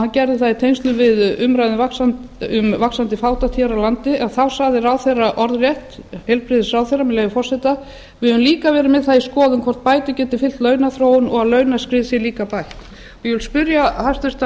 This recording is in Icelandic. hann gerði það í tengslum við umræðu um vaxandi fátækt hér á landi en þá sagði ráðherra orðrétt með leyfi forseta við höfum líka verið með það í skoðun hvort bætur geti fylgt launaþróun og að launaskrið sé líka bætt ég spyr hæstvirtur